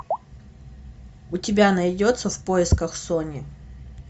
у тебя найдется в поисках сони